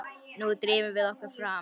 Nú drífum við okkur fram!